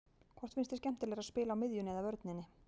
Hvort finnst þér skemmtilegra að spila á miðjunni eða vörninni?